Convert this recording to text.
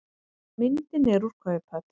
Myndin er úr kauphöll.